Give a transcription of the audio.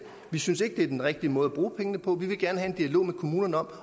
vi synes ikke det er en rigtig måde at bruge pengene på vi vil gerne have en dialog med kommunerne om